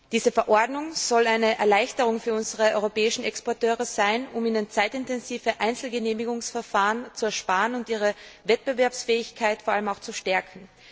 Diese Verordnung soll eine Erleichterung für unsere europäischen Exporteure sein, um ihnen zeitintensive Einzelgenehmigungsverfahren zu ersparen und vor allem auch ihre Wettbewerbsfähigkeit zu stärken.